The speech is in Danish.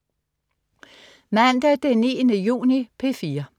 Mandag den 9. juni - P4: